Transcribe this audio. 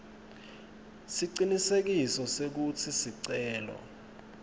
siciniseko sekutsi sicelo